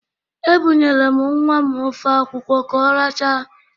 Ebụnyere m nnwa m ofe akwụ ka ọ rachaa.